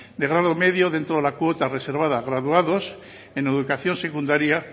de grado medio dentro de la cuota reservado a graduados en educación secundaria